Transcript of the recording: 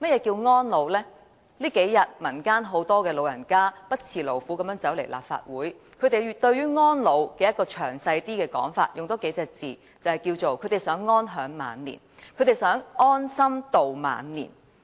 這數天，很多老人家不辭勞苦來到立法會，他們對於安老有詳細的說法，多加數個字來形容，就是他們想安享晚年。